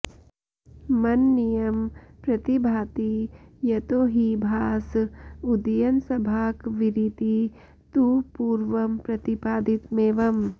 मननीयं प्रतिभाति यतो हि भास उदयनसभाकविरिति तु पूर्वं प्रतिपादितमेवं